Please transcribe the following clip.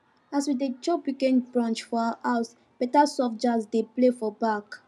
as we dey chop weekend brunch for house beta soft jazz dey play for back